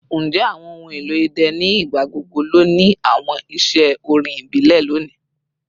Njẹ awọn ohun elo idẹ ni igbagbogbo lo ni awọn iṣẹ orin ibile loni?